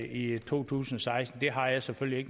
i to tusind og seksten har jeg selvfølgelig